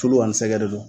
Tulu ani sɛgdon don